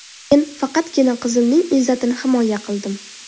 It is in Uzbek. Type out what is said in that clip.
Men faqatgina qizimning izzatini himoya qildim.